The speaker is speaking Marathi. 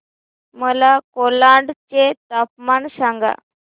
मला कोलाड चे तापमान सांगा